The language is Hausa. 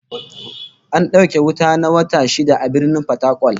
An dauke wuta na wata shida a Birnin Fatakwal